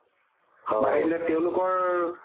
বাঢ়িলে তেওলোকৰ